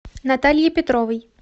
наталье петровой